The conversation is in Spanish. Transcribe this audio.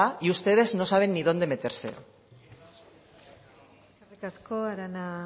y ustedes no saben ni dónde meterse eskerrik asko arana